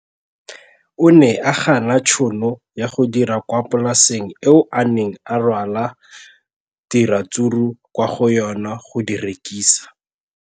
O ne a gana tšhono ya go dira kwa polaseng eo a neng rwala diratsuru kwa go yona go di rekisa.